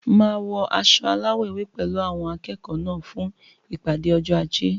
Máa wọ aṣọ alawọ ewé pẹlu awọn akẹẹkọ náà fún ìpàdé ọjọ ajé